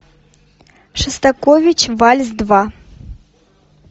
шостакович вальс два